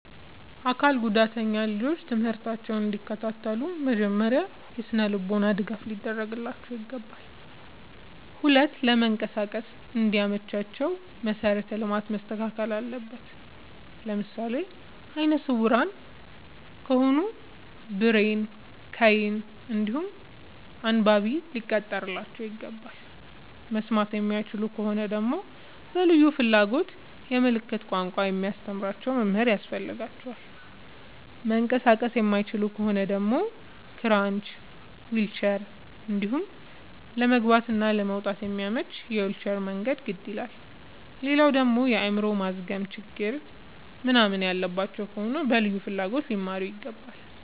አካል ጉዳተኛ ልጆች ትምህርታቸውን እንዲ ከታተሉ መጀመሪያ የስነልቦና ድገፍ ሊደረግላቸው ይገባል። ሁለተኛ ለመንቀሳቀስ እንዲ መቻቸው መሰረተ ልማት መስተካከል አለበት። ለምሳሌ አይነስውራ ከሆኑ ብሬል ከይን እንዲሁም አንባቢ ሊቀጠርላቸው ይገባል። መስማት የማይችሉ ከሆኑ ደግመሞ በልዩ ፍላጎት የምልክት ቋንቋ የሚያስተምር መምህር ያስፈልጋቸዋል። መንቀሳቀስ የማይችሉ ከሆኑ ደግሞ ክራች ዊልቸር እንዲሁም ለመግባት እና ለመውጣት የሚያመች የዊልቸር መንገድ ግድ ይላላል። ሌላደግሞ የአይምሮ ማዝገም ችግር ምንናምን ያለባቸው ከሆኑ በልዩ ፍላጎት ሊማሩ ይገባል።